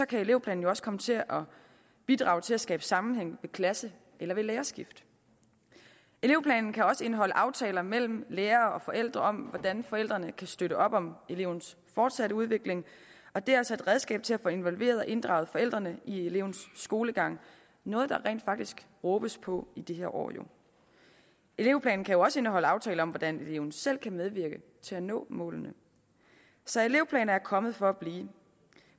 kan elevplanen jo også komme til at bidrage til at skabe sammenhæng ved klasse eller lærerskift elevplanen kan også indeholde aftaler mellem lærere og forældre om hvordan forældrene kan støtte op om elevens fortsatte udvikling og det er altså et redskab til at få involveret og inddraget forældrene i elevens skolegang noget der rent faktisk råbes på i disse år elevplanen kan også indeholde aftaler om hvordan eleven selv kan medvirke til at nå målene så elevplaner er kommet for at blive